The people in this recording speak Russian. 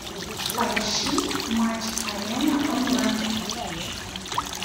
поищи матч арена онлайн